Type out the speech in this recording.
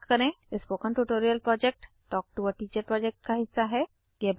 spoken tutorial project talk to a teacher project का हिस्सा है